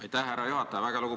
Aitäh, härra juhataja!